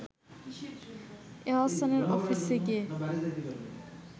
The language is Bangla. এহসানের অফিসে গিয়ে